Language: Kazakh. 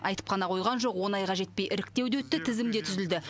айтып қана қойған жоқ он айға жетпей іріктеу де өтті тізім де түзілді